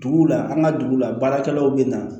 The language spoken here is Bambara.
Duguw la an ka dugu la baarakɛlaw bɛ na